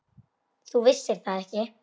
Þú vissir það ekki.